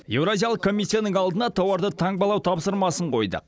еуразиялық комиссияның алдына тауарды таңбалау тапсырмасын қойдық